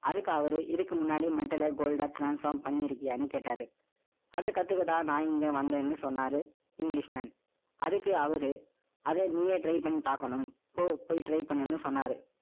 அவர் கிட்ட, நான் என்ன தேடுறேன்னு சொன்னேன். அதுக்கு அவரு, இதுக்கு முன்னாடி, mental ஆ, gold ஆ transform பண்ணியிருக்கியான்னு கேட்டாரு. அதை கத்துக்கத்தான், நான் இங்க வந்தேன்னு, சொன்னாரு. English man அதுக்கு அவரு, அதை நீயே try பண்ணி பார்க்கணும். போ, போய் try பண்ணுன்னு சொன்னாரு